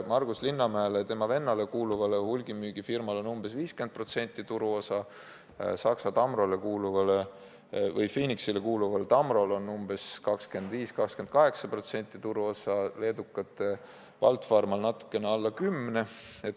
Margus Linnamäele ja tema vennale kuuluval hulgimüügifirmal on umbes 50% turuosa, Saksa emafirmale Phoenix kuuluval Tamrol on 25–28% turuosa, leedukate Baltfarmal on natukene alla 10%.